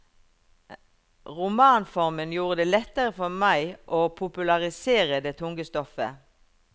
Romanformen gjorde det lettere for meg å popularisere det tunge stoffet.